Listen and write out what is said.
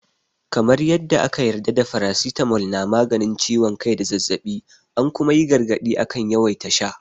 Kamar yadda aka yarda da faracitamol na maganin ciwon kai da zazzaɓi, an kuma yi gargaɗi akan yawaita sha.